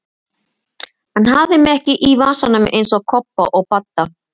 Hann hafði mig ekki í vasanum eins og Kobba og Badda!